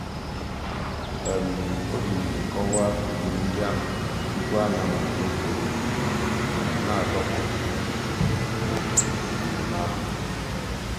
ọ̀ jì ndìdì kọ́wàá ìwù ńdí àhụ̀ túpù ànyị̀ àmàlítè ègwè́ré́gwụ̀ nà-àdọ̀kpụ̀ ǔ́dọ̀ n'èmẹ̀mmẹ̀ àhụ̀.